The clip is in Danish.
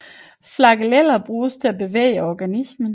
Flageller bruges til at bevæge organismen